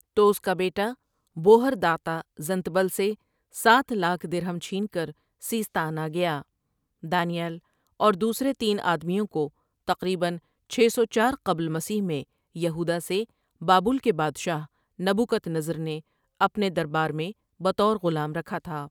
تو اس کا بیٹا بوہر دعتہ زنتبل سے سات لاکھ درھم چھین کر سیستان آ گیا دانی ایل اور دوسرے تین آدمیوں کو تقریباً چھ سو چار قبل مسیح میں یہوداہ سے بابل کے بادشاہ نبو کدنضر نے اپنے دربار میں بطور غلام رکھا تھا ۔